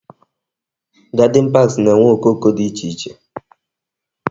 Garden parks na-enwe okoko dị iche iche